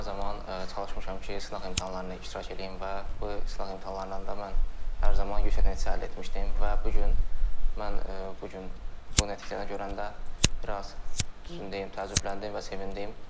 Mən hər zaman çalışmışam ki, sınaq imtahanlarına iştirak eləyim və bu sınaq imtahanlarından da mən hər zaman yüksək nəticə əldə etmişdim və bu gün mən bu gün bu nəticəni görəndə biraz düzünü deyim, təəccübləndim və sevindim.